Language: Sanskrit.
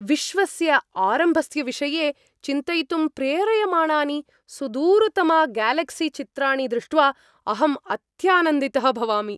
विश्वस्य आरम्भस्य विषये चिन्तयितुं प्रेरयमाणानि सुदूरतमग्यालक्सीचित्राणि दृष्ट्वा अहम् अत्यानन्दितः भवामि।